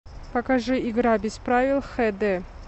покажи игра без правил хд